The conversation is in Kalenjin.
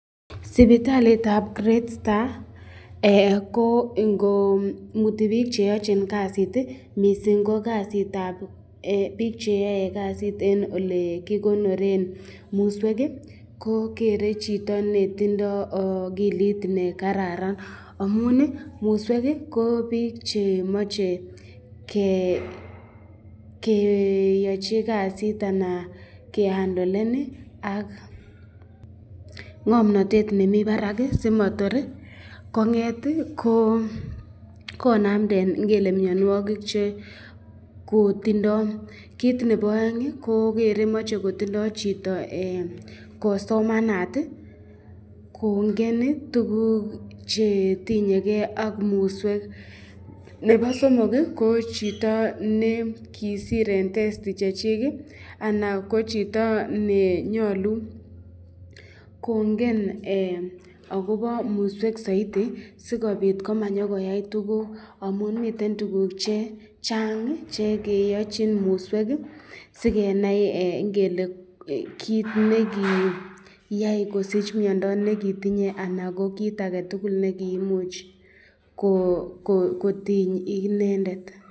Sipitalitab great star, ko ingomuti bik cheyochin kasit mising ko ko kasitab, bik cheyoe kasit eng ole kikonoren muswek, ko Gere chito netindo akilit nekararan amun muswek ko bik che mache keyachi kasit, anan kehandolen ak ngomnatet nemi barak simator konamden ingele mnyanwakik che kotindo kit nebo aeng, kogere mache kotindo chito ,kosomanat kongen tukuk chetinyeken ak muswek ,nebo somok ko chito ne kisir eng testi Chechik anan ko chito nenyalu kongen akobo muswek saiti ,sikobit komanyokoyai tukuk amun miten tukuk chechang chekeachin muswek, sikenai kit nekiyae kosich mnyando nekitinye anan ko kit ake tukul nekimuch kotiny inendet.